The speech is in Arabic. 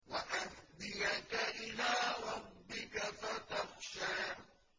وَأَهْدِيَكَ إِلَىٰ رَبِّكَ فَتَخْشَىٰ